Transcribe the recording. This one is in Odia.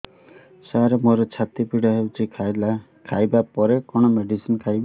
ସାର ମୋର ଛାତି ପୀଡା ହଉଚି ଖାଇବା ପରେ କଣ ମେଡିସିନ ଖାଇବି